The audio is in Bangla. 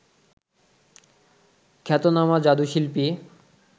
খ্যাতনামা জাদুশিল্পী